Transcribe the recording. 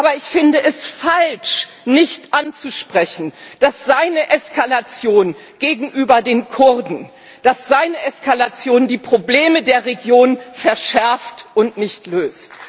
Aber ich finde es falsch, nicht anzusprechen, dass seine Eskalation gegenüber den Kurden die Probleme der Region verschärft und nicht löst.